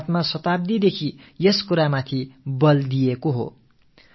பாரதம் பல நூற்றாண்டுகளாகவே இந்தக் கருத்துக்கு வலு சேர்த்து வந்திருக்கிறது